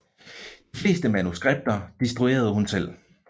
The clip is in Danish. De fleste manuskripter destruerede hun selv